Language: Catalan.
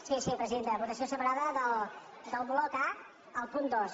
sí sí presidenta votació separada del bloc a el punt dos